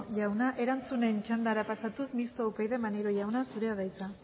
jauna erantzunen txandara pasatuz mistoa upyd maneiro jauna zurea da hitza